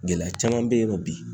Gɛlɛya caman be yen nɔ bi